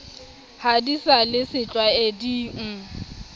ha di sa le setlwaeding